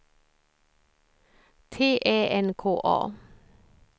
T Ä N K A